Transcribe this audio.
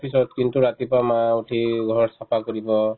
office ত কিন্তু ৰাতিপুৱা মা উঠি ঘৰত চাফা কৰিব